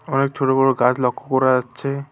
অনেক ছোট বড় গাছ লক্ষ করা যাচ্ছে।